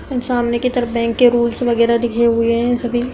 सामने की तरफ बैंक के रूल्स वगेरह दिखे हुए हैं सभी।